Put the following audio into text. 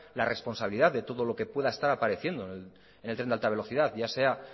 la responsabilidad de todo lo que pueda estar apareciendo en el tren de alta velocidad ya sea